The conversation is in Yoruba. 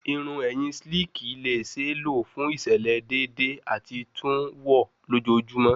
Irun ẹhin slicki le ṣee lo fun iṣẹlẹ deede ati tun wọ lojoojumọ